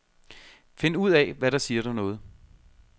Find ud af, hvad der siger dig noget.